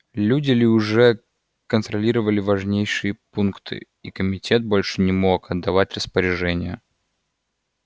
люди ли уже контролировали важнейшие пункты и комитет больше не мог отдавать распоряжения